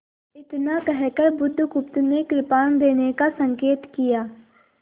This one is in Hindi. इतना कहकर बुधगुप्त ने कृपाण देने का संकेत किया